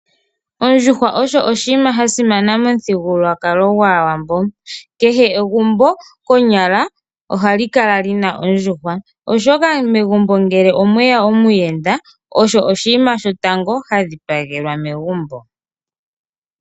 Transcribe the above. Oondjuhwa odho iikwamawawa yasimana momuthigululwakalo gwaawambo. Kehe egumbo lyoshiwambo shiwambo ohamu tekulwa ondjuhwa oshoka ngele megumbo omweya omuyenda omukuluntu ohemu dhipagele ondjuhwa.